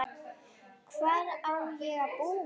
Hvar á ég að búa?